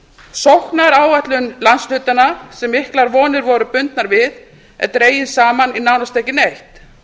sóknaráætlun landshlutanna sem miklar vonir voru bundnar við er dregin saman í nánast ekki neitt